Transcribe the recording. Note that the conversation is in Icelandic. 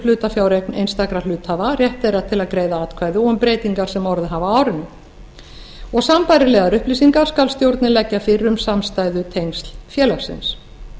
hlutafjáreign einstakra hluthafa rétt þeirra til að greiða atkvæði og um breytingar sem orðið hafa á árinu sambærilegar upplýsingar skal stjórnin leggja fyrir um samstæðutengsl félagsins